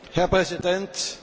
Herr Präsident!